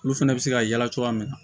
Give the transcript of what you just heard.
Olu fɛnɛ bɛ se ka yala cogoya min na